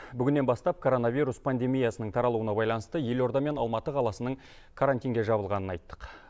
бүгіннен бастап коронавирус пандемиясының таралуына байланысты елорда мен алматы қаласының карантинге жабылғанын айттық